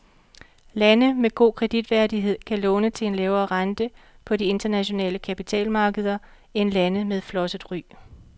Lande med god kreditværdighed kan låne til en lavere rente på de internationale kapitalmarkeder end lande med flosset ry.